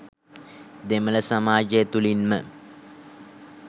දෙමළ සමාජය තුළින්ම